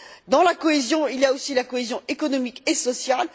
Dans la cohésion, il y a aussi la cohésion économique et sociale.